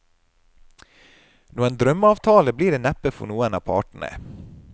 Noen drømmeavtale blir det neppe for noen av partene.